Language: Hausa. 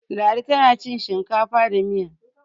Ladi tana cin shinkafa da Miya